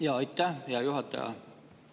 Jaa, aitäh, hea juhataja!